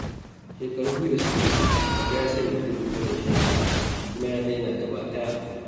Shekaru biyu da suka wuce, Baba ya sanya burin barin shan taba, kuma ya daina gaba ɗaya.